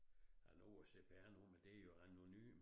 Nej nu er cpr-nummer det jo anonymt